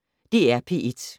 DR P1